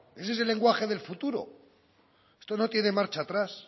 ese es el lenguaje del futuro esto no tiene marcha atrás